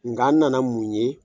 Nka n nana mun ye